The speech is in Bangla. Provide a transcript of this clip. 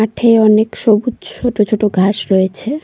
মাঠে অনেক সবুজ ছোট ছোট ঘাস রয়েছে।